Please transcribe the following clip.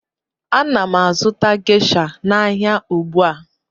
Ana m azụta Gesha n'ahịa ugbu a